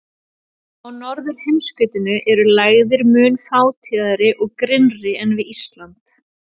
Á norðurheimskautinu eru lægðir mun fátíðari og grynnri en við Ísland.